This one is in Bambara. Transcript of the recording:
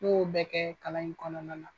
N'o bɛ kɛ kalan in kɔnɔna na.